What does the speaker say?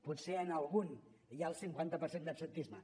potser en algun hi ha el cinquanta per cent d’absentisme